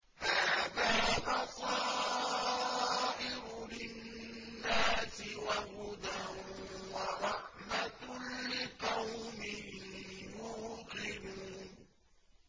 هَٰذَا بَصَائِرُ لِلنَّاسِ وَهُدًى وَرَحْمَةٌ لِّقَوْمٍ يُوقِنُونَ